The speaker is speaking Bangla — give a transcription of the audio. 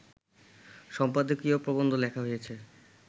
সম্পাদকীয় প্রবন্ধ লেখা হয়েছে